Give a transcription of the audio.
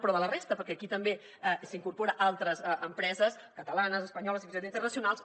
però de la resta perquè aquí també s’hi incorporen altres empreses catalanes espanyoles fins i tot internacionals